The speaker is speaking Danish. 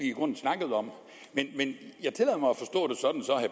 i grunden snakkede om men jeg tillader mig at